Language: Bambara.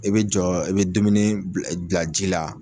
I bɛ jɔ i bɛ dumuni bila bila ji la.